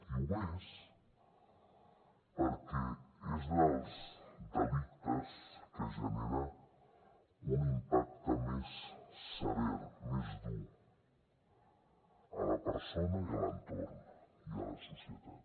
i ho és perquè és dels delictes que genera un impacte més sever més dur a la persona i a l’entorn i a la societat